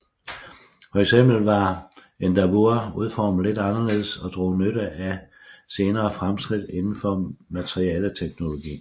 Fx var Endeavour udformet lidt anderledes og drog nytte af senere fremskridt indenfor materialeteknologi